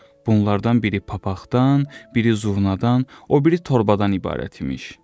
Bunlardan biri papaqdan, biri zurnadan, o biri torbadan ibarət imiş.